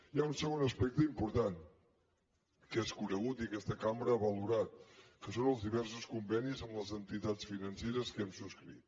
hi ha un segon aspecte important que és conegut i que aquesta cambra ha valorat que són els diversos convenis amb les entitats financeres que hem subscrit